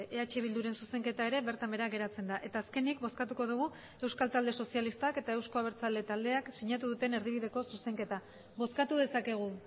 eh bilduren zuzenketa ere bertan behera geratzen da eta azkenik bozkatuko dugu euskal talde sozialistak eta euzko abertzale taldeak sinatu duten erdibideko zuzenketa bozkatu dezakegu